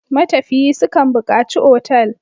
Matafiyi su kan buƙaci otal.